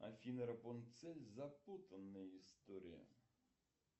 афина рапунцель запутанная история